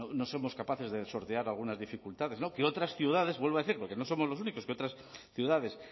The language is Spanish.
no somos capaces de sortear algunas dificultades que otras ciudades vuelvo a decir porque no somos los únicos que otras ciudades